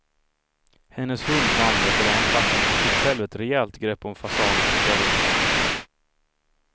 Hennes hund vann veteranklassen och tog själv ett rejält grepp om fasanen och bar ut den.